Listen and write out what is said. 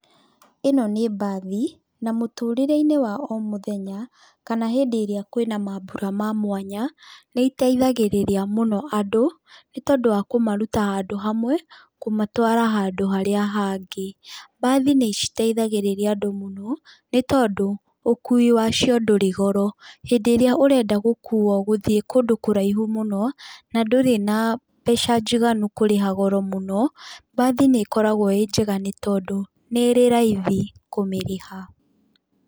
ĩno nĩ mbathi na mũtũrĩre-inĩ wa o mũthenya, kana hĩndĩ ĩrĩa kwĩna mambura ma mwanya, nĩ ĩteithagĩrĩria mũno andũ nĩ tondũ wa kũmaruta handũ hamwe kũmatwara handũ harĩa hangĩ. Mbathi nĩ citeithagĩrĩria andũ mũno nĩ tondũ ũkui wacio ndũri goro. Hĩndĩ ĩrĩa ũreda gũkuo gũthiĩ kũndũ kũraihu mũno, na ndũrĩ na mbeca njiganu kũrĩha goro mũno, mbathi nĩ ĩkoragwo ĩ njiganu tondũ nĩ ĩrĩ raithi kũmĩrĩha.